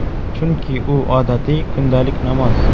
Chunki, u odatiy, kundalik namoz.